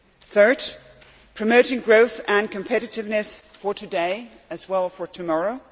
Third, promoting growth and competitiveness, for today as well as for tomorrow.